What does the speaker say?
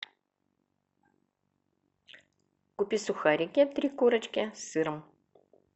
купи сухарики три корочки с сыром